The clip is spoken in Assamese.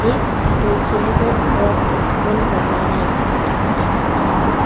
এই কোঠাটোৰ চিলিঙৰ ওপৰত কেইটামান বগা লাইট জ্বলি থকা দেখা পাইছোঁ।